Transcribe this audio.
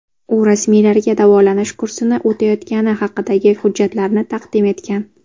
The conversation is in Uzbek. U rasmiylarga davolanish kursini o‘tayotgani haqidagi hujjatlarni taqdim etgan.